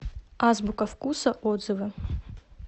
азбука вкуса отзывы